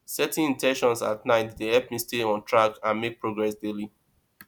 setting in ten tions at night dey help me stay on track and make progress daily